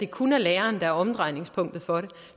kun er lærerne der er omdrejningspunktet for det